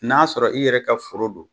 N'a' sɔrɔ i yɛrɛ ka foro don